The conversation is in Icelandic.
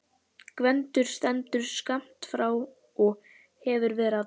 Gvendur stendur skammt frá og hefur verið að tala.